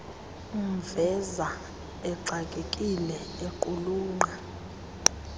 umveza exakekile equlunqa